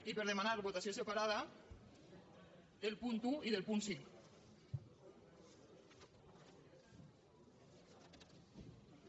i per demanar votació separada del punt un i del punt cinc